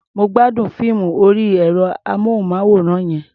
Mo gbádùn fíìmù orí ẹ̀rọ-amóhùnmáwòrán yẹn.